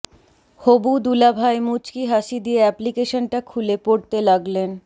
হবু দুলাভাই মুচকি হাসি দিয়ে এ্যাপ্লিকেশনটা খুলে পড়তে লাগলেন